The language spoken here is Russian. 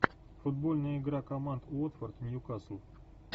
футбольная игра команд уотфорд ньюкасл